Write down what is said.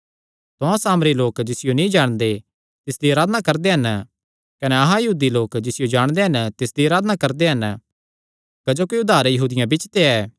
तुहां सामरी लोक जिसियो नीं जाणदे तिसदी अराधना करदे हन कने अहां यहूदी लोक जिसियो जाणदे हन तिसदी अराधना करदे हन क्जोकि उद्धार यहूदियां बिच्च ते ऐ